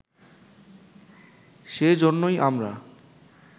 সে জন্যেই আমরা